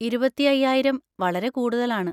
ഇരുപത്തി അയ്യായിരം വളരെ കൂടുതലാണ്.